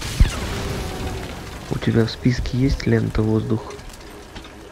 у тебя в списке есть лента воздух